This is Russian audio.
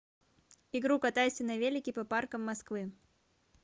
игру катайся на велике по паркам москвы